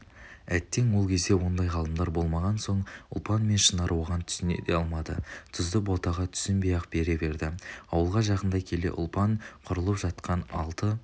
әттең ол кезде ондай ғалымдар болмаған соң ұлпан мен шынар оған түсіне де алмады тұзды ботаға түсінбей-ақ бере берді ауылға жақындай келе ұлпан құрылып жатқан алты